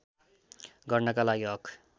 गर्नका लागि हक